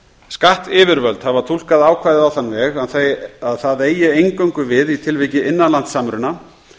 skattyfirvöld hafa túlkað ákvæðið á þann veg að það eigi eingöngu við í tilviki innanlandssamruna